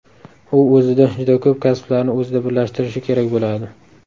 U o‘zida juda ko‘p kasblarni o‘zida birlashtirishi kerak bo‘ladi.